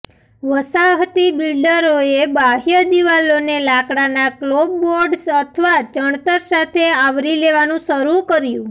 વસાહતી બિલ્ડરોએ બાહ્ય દિવાલોને લાકડાના ક્લોપબોર્ડ્સ અથવા ચણતર સાથે આવરી લેવાનું શરૂ કર્યું